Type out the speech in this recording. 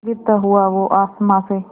गिरता हुआ वो आसमां से